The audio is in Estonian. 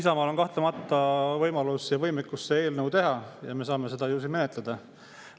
Isamaal on kahtlemata võimalus ja võimekus see eelnõu teha ja me saame seda siis menetleda.